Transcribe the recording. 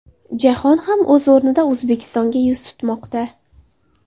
Jahon ham, o‘z o‘rnida, O‘zbekistonga yuz tutmoqda.